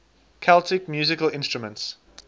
celtic musical instruments